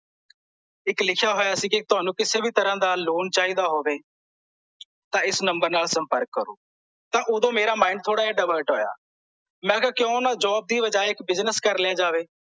ਇੱਕ ਲਿਖਿਆ ਹੋਇਆ ਸੀ ਕੇ ਤੁਹਾਨੂੰ ਕਿਸੇ ਵੀ ਤਰ੍ਹਾਂ ਦਾ ਲੋਨ ਚਾਹੀਦਾ ਹੋਵੇ ਤਾਂ ਇਸ ਨੰਬਰ ਨਾਲ ਸਂਮਪਰਕ ਕਰੋ ਤਾਂ ਓਦੋਂ ਮੇਰਾ mind ਥੋੜਾ ਜਿਹਾ divert ਹੋਇਆ ਮੈਂ ਕਿਹਾ ਕਿਂਓ ਨਾਂ ਜੋਬ ਦੇ ਬਜਾਏ ਇੱਕ business ਕਰ ਲਿਆ ਜਾਵੇ